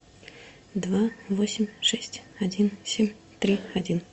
два восемь шесть один семь три один